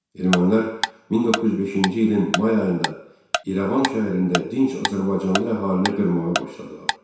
Ermənilər 1905-ci ilin may ayında İrəvan şəhərində dinç azərbaycanlı əhalini qırmağa başladılar.